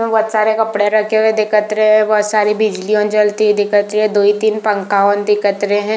इसमें बहुत सारे कपड़े रखे हुए दिखत रहे है बहुत सारी बिजलियाँ जलती हुई दिखत रही है दोई तीन पंखा ओ अन दिखत रहे है।